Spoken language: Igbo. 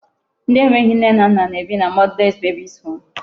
Ndị e nweghị nne na nna na-ebi na motherless babies home.